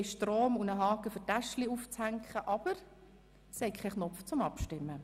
Sie haben Stromanschlüsse und einen Haken, um Taschen daran aufzuhängen, aber – es gibt keinen Knopf zum Abstimmen.